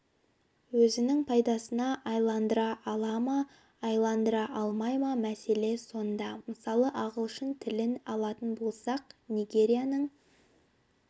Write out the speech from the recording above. өзінің пайдасына айналдыра ала ма айналдыра алмай ма мәселе сонда мысалы ағылшын тілін алатын болсақ нигерияның